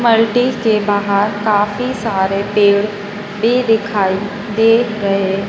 बाल्टी के बहार काफ़ी सारे पेड़ भी दिखाइ दे रहे--